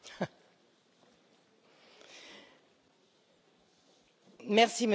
Monsieur le Président, à l'approche des élections européennes, un vent de panique gagne les européistes.